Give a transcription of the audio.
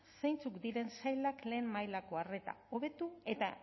zeintzuk diren sailak lehen mailako arreta hobetu eta